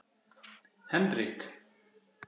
Henrik